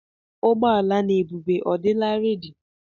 Ụgbọala n'ebube mmadụ ọ dịla rẹ́di?